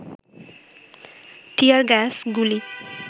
টিয়ার gas, গুলি